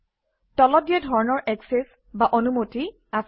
তলত দিয়া ধৰণৰ একচেচ বা অনুমতি আছে